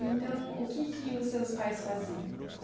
Então, o que que os seus pais faziam?